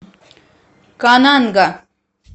кананга